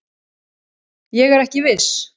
Ég er ekki viss.